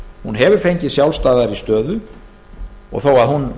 hún hefur fengið sjálfstæðari stöðu þó að hún